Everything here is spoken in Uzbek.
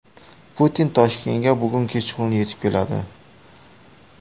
Putin Toshkentga bugun kechqurun yetib keladi.